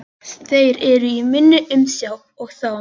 Þeir eru í minni umsjá og það með réttu.